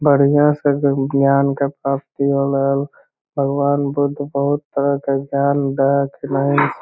बढ़िया से जे उ ज्ञान के प्राप्ति होलल भगवान बुद्ध बहुत तरह के ज्ञान देय के --